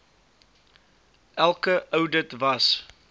elke oudit was